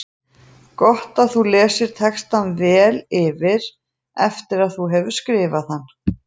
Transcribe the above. Gott er að þú lesir textann vel yfir eftir að þú hefur skrifað hann.